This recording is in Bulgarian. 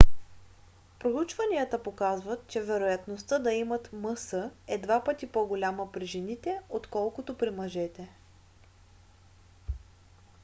проучванията показват че вероятността да имат мс е два пъти по-голяма при жените отколкото при мъжете